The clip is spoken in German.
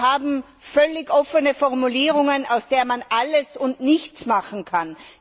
Wir haben völlig offene Formulierungen, aus denen man alles und nichts machen kann.